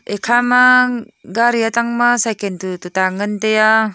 ekhama gari atangma cycan tu tuta ngan tai a.